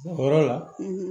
O yɔrɔ la